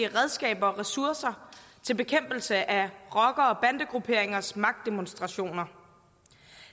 redskaber og ressourcer til bekæmpelse af rocker og bandegrupperingers magtdemonstrationer